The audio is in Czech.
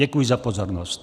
Děkuji za pozornost.